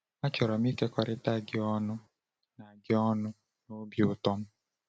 “Achọrọ m ịkekọrịta gị ọṅụ na gị ọṅụ na obi ụtọ m.